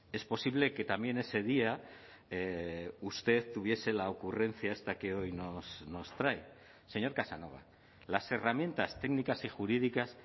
es posible que también ese día usted tuviese la ocurrencia esta que hoy nos trae señor casanova las herramientas técnicas y jurídicas